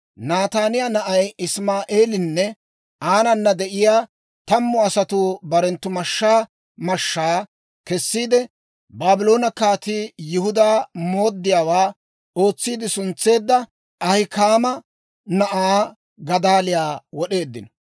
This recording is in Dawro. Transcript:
Nataaniyaa na'ay Isimaa'eelinne aanana de'iyaa tammu asatuu barenttu mashshaa mashshaa kessiide, Baabloone kaatii Yihudaa mooddiyaawaa ootsiide suntseedda Ahikaama na'aa Gadaaliyaa wod'eeddino.